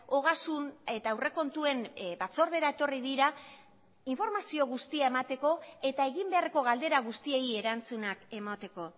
ogasun eta aurrekontuen batzordera etorri dira informazio guztia emateko eta egin beharreko galdera guztiei erantzunak emateko